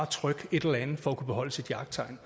trykke et eller andet for at kunne beholde sit jagttegn